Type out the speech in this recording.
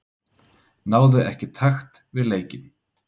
Náði ekki takt við leikinn.